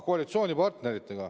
Koalitsioonipartnerid.